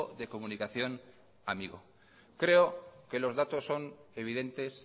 de comunicación amigo creo que los datos son evidentes